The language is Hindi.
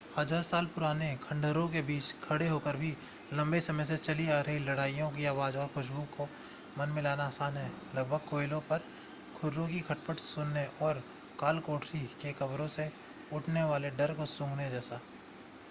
हज़ार साल पुराने खंडहरों के बीच खड़े होकर भी लंबे समय से चली आ रही लड़ाइयों की आवाज़ और खुशबू को मन में लाना आसान है लगभग कोयलों पर खुरों की खटपट सुनने और कालकोठरी के कब्रों से उठने वाले डर को सूंघने जैसा